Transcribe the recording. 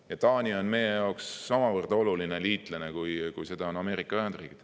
Ja Taani on meie jaoks samavõrd oluline liitlane, kui on Ameerika Ühendriigid.